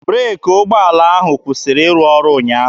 Breeki ụgbọala ahụ kwụsịrị ịrụ ọrụ ụnyaahụ.